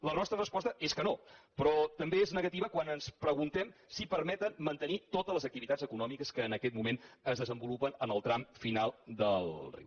la nostra resposta és que no però també és negativa quan ens preguntem si permeten mantenir totes les activitats econòmiques que en aquest moment es desenvolupen en el tram final del riu